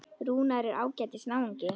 Rúnar er ágætis náungi.